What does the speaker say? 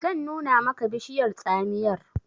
zan nuna maka bishiyar tsamiyar!